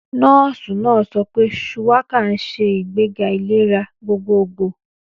Nọ́ọ̀sì náà sọ pé Shuwaka ń ṣe ìgbéga ìlera gbogbogbò.